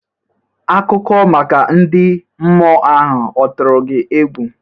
Akụkọ maka ndị mmụọ ahụ ọ tụrụ gị egwu?